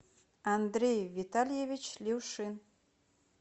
андрей витальевич люшин